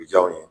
Janw ye